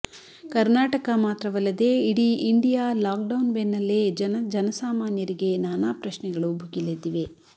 ಕರ್ನಾಟಕ ಮಾತ್ರವಲ್ಲದೇ ಇಡೀ India lockdown ಬೆನ್ನಲ್ಲೇ ಜನ ಜನಸಾಮಾನ್ಯರಿಗೆ ನಾನಾ ಪ್ರಶ್ನೆಗಳು ಭುಗಿಲೆದ್ದಿವೆ